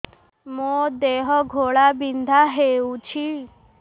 ମୋ ଦେହ ଘୋଳାବିନ୍ଧା ହେଉଛି